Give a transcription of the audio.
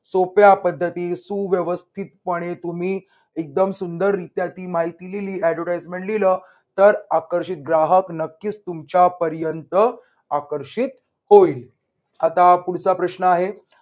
सोप्या पद्धती सुव्यवस्थितपणे तुम्ही एकदम सुंदर रित्या ती माहिती लिहिली. advertisement लिहिल तर आकर्षित ग्राहक नक्कीच तुमच्या पर्यंत आकर्षित होईल. आता पुढचा प्रश्न आहे.